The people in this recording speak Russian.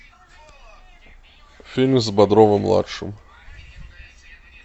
фильм с бодровым младшим